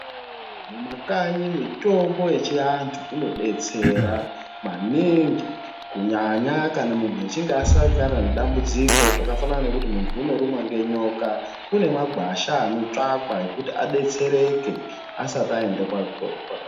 Mumakanyi mitombo yechiantu inodetsera maningi kunyanya kana muntu achinge asangana nedambudziko zvakafanana nekuti muntu unorumwe ngenyoka kune magwasha anotsvakwa ekuti adetsereke asati aende kwaka.